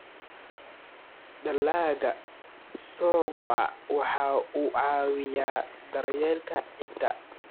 Dalagga ka soo go'a waxa uu caawiyaa daryeelka ciidda.